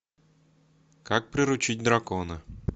как приручить дракона